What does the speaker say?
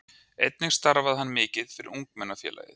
Einnig starfaði hann mikið fyrir Ungmennafélagið.